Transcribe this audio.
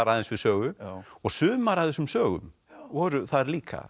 aðeins við sögu og sumar af þessum sögum voru það líka